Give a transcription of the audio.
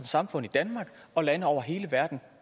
samfund og lande over hele verden